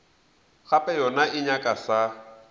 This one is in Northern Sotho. gape yona e nyaka sa